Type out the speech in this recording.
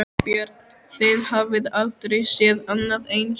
Björn: Þið hafið aldrei séð annað eins?